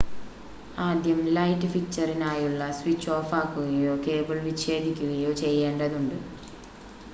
ആദ്യം ലൈറ്റ് ഫിക്‌ചറിനായുള്ള സ്വിച്ച് ഓഫാക്കുകയോ കേബിൾ വിച്ഛേദിക്കുകയോ ചെയ്യേണ്ടതുണ്ട്